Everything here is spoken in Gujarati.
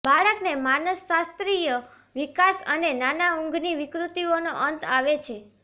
બાળકને માનસશાસ્ત્રીય વિકાસ અને નાના ઊંઘની વિકૃતિઓનો અંત આવે છે